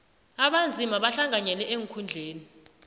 abanzima bahlanganyele eenkhundleni